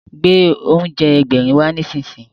Gbé oúnjẹ Ẹgbẹ̀rin wá nísinsìnyí!